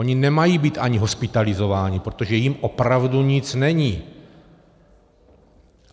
Oni nemají být ani hospitalizováni, protože jim opravdu nic není.